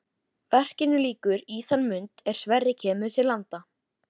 Verkinu lýkur í þann mund er Sverrir kemur til landa.